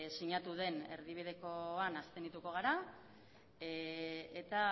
sinatu den erdibidekoan abstenituko gara eta